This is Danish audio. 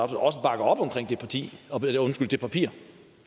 også bakker op om det papir